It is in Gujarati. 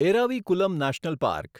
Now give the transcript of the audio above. Eravikulam national park